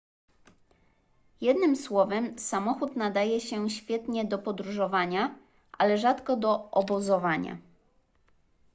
jednym słowem samochód nadaje się świetnie do podróżowania ale rzadko do obozowania